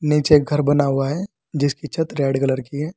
नीचे घर बना हुआ है जिसकी छत रेड कलर की है।